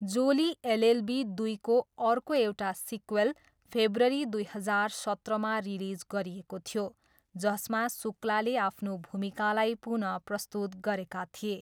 जोली LLB दुईको अर्को एउटा सिक्वेल फेब्रुअरी दुई हजार सत्रमा रिलिज गरिएको थियो, जसमा शुक्लाले आफ्नो भूमिकालाई पुनःप्रस्तुत गरेका थिए।